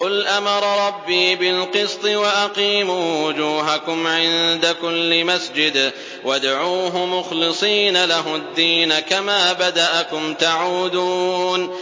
قُلْ أَمَرَ رَبِّي بِالْقِسْطِ ۖ وَأَقِيمُوا وُجُوهَكُمْ عِندَ كُلِّ مَسْجِدٍ وَادْعُوهُ مُخْلِصِينَ لَهُ الدِّينَ ۚ كَمَا بَدَأَكُمْ تَعُودُونَ